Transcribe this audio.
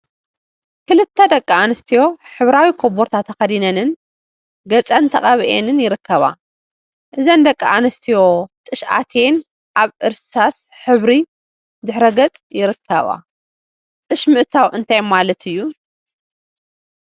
ክልተ ደቂ አንስትዮ ሕብራዊ ኮቦርታ ተከዲነንን ገፀን ተቀቢአንን ይርከባ፡፡ እዘን ደቂ አንስትዮ ጥሽ አትየን አብ እርሳስ ሕብሪ ድሕረ ገፅ ይርከባ፡፡ ጥሽ ምእታው እንታይ ማለት እዩ?